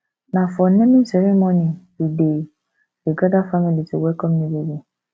na for naming ceremony we dey dey gather family to welcome new baby